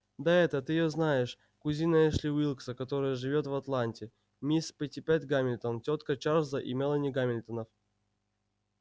да эта ты еёзнаешь кузина эшли уилкса которая живёт в атланте мисс питтипэт гамильтон тётка чарлза и мелани гамильтонов